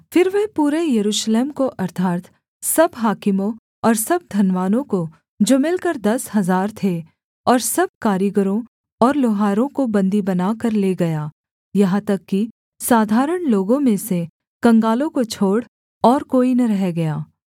फिर वह पूरे यरूशलेम को अर्थात् सब हाकिमों और सब धनवानों को जो मिलकर दस हजार थे और सब कारीगरों और लोहारों को बन्दी बनाकर ले गया यहाँ तक कि साधारण लोगों में से कंगालों को छोड़ और कोई न रह गया